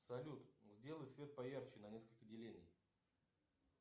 салют сделай свет поярче на несколько делений